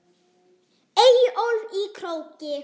Eyjólf í Króki.